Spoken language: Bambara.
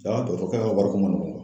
Jaa dɔtɔrɔkɛ ka wariko man nɔgɔn.